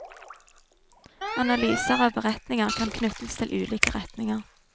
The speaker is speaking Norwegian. Analyser av beretninger kan knyttes til ulike retninger.